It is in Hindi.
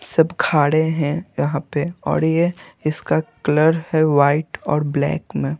सब खाड़े हैं यहां पे और ये इसका क्लर है वाइट और ब्लैक में--